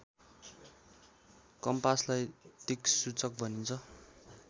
कम्पासलाई दिक्सूचक भनिन्छ